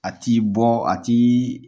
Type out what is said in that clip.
A t'i bɔ a ti